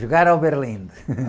Jogar ao berlinde.